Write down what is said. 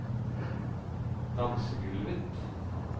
dansegulvet